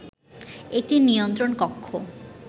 একটি নিয়ন্ত্রণ কক্ষ